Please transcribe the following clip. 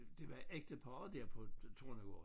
Det var ægteparret der på Tornegård